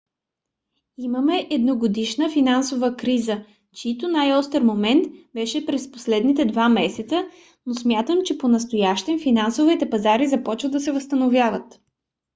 имаме едногодишна финансова криза чийто най-остър момент беше през последните два месеца но смятам че понастоящем финансовите пазари започват да се възстановяват.